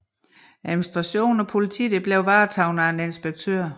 Administration og politi blev varetaget af en inspektør